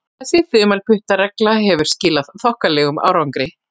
Þessi þumalputtaregla hefur skilað þokkalegum árangri.